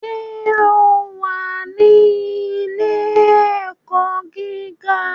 Ṣé o wà ní Ilé-ẹ̀kọ́ gíga?